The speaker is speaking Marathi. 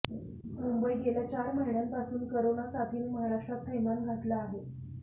मुंबईः गेल्या चार महिन्यांपासून करोना साथीने महाराष्ट्रात थैमान घातलं आहे